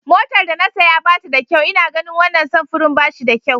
Motar da na saya ba ta da kyau ina ganin wannan samfurin ba shi da kyau.